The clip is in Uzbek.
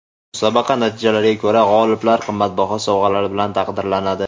Musobaqa natijalariga ko‘ra g‘oliblar qimmatbaho sovg‘alar bilan taqdirlanadi.